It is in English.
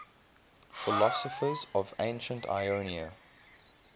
philosophers of ancient ionia